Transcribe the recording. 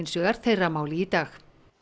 vegar þeirra máli í dag